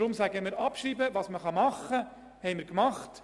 Wir haben getan, was wir tun können.